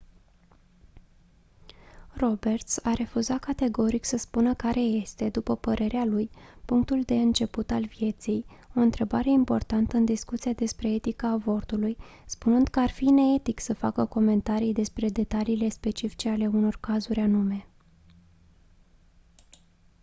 roberts a refuzat categoric să spună care este după părerea lui punctul de început al vieții o întrebare importantă în discuția despre etica avortului spunând că ar fi neetic să facă comentarii despre detaliile specifice ale unor cazuri anume